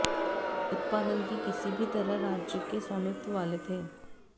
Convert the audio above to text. उत्पादन की किसी भी तरह राज्य के स्वामित्व वाले थे